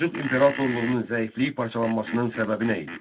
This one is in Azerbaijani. Səlcuq imperatorluğunun zəifliyi parçalanmasının səbəbi nə idi?